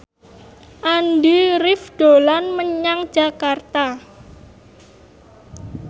Andy rif dolan menyang Jakarta